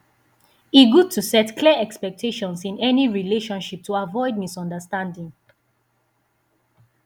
e good to set clear expectations in any relationship to avoid misunderstanding